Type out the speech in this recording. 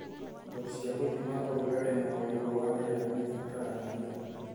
Indo cia gũthima ũrugarĩ na ũigũ wa rĩera nĩibataranagia.